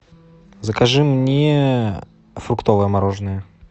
закажи мне фруктовое мороженное